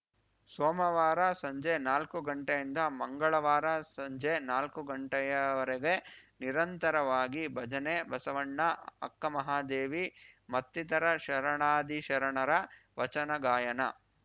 ಸೋಮವಾರ ಸಂಜೆ ನಾಲ್ಕು ಗಂಟೆಯಿಂದ ಮಂಗಳವಾರ ಸಂಜೆ ನಾಲ್ಕು ಗಂಟೆಯವರೆಗೆ ನಿರಂತರವಾಗಿ ಭಜನೆ ಬಸವಣ್ಣ ಅಕ್ಕ ಮಹಾದೇವಿ ಮತ್ತಿತರ ಶರಣಾದಿಶರಣರ ವಚನಗಾಯನ